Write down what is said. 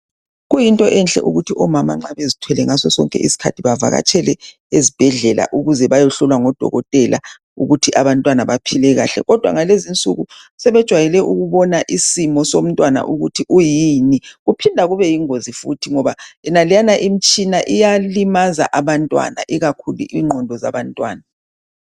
Kuyinto enhle ukuthi omama nxa bezithwele ngasosonke iskhathi bavakatshele ezibhedlela ukuze bayohlolwa ngodokotela ukuthi abantwana baphile kahle kodwa ngalezinsuku sebejwayele ukubona isimo somtwana ukuthi uyini kuphinda kube yingozi futhi ngoba yonaleyana imitshina iyalimaza abantwana ikakhulu ingqondo zabantwana.